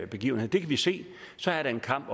begivenheder det kan vi se så er der en kamp